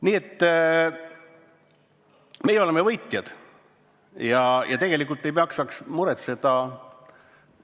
Nii et meie oleme võitjad ja tegelikult ei maksaks muretseda.